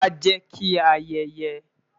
wá, jẹ ki a ayeye